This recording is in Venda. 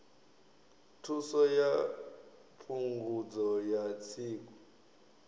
thuso ya phungudzo ya tsiku